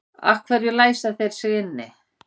Af hverju læsa þeir sig inni?